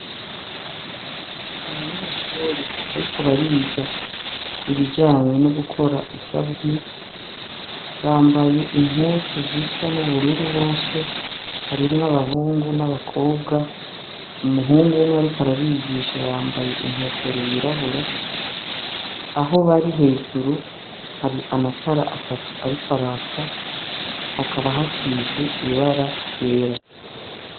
abanyeshuri ariko bariga ibijanye no gukora isabuni bambaye inkuzu zisa n'ubururu bose harimwe abahungu n'abakobwa umuhungu umwe ariko arabigisha yambaye inkofero yirabura aho bari hejuru hari amatara atatu ariko araka hakaba hasize ibara ryera